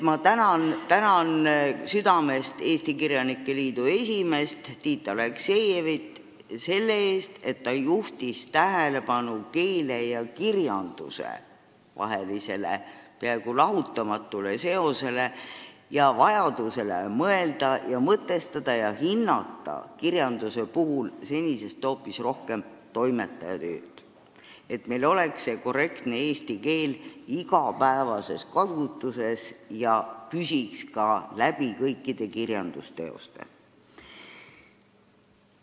Ma tänan südamest Eesti Kirjanike Liidu esimeest Tiit Aleksejevit selle eest, et ta juhtis tähelepanu keele ja kirjanduse lahutamatule seosele ning vajadusele hinnata kirjanduse puhul senisest hoopis rohkem toimetaja tööd, et korrektne eesti keel oleks igapäevases kasutuses ja püsiks kõikides kirjandusteostes.